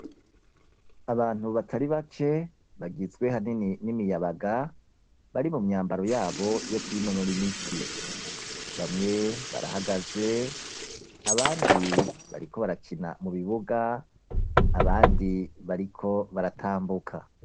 Abantu batari bake, bagizwe ahanini n'imiyabaga, bari mu myambaro yabo yo kwinonora imitsi; bamwe barahagaze, abandi bariko barakina mu bibuga, abandi bariko baratambuka.